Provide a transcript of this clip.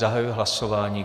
Zahajuji hlasování.